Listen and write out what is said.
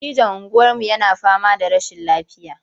Dattijon unguwarmu yana fama da rashin lafiya.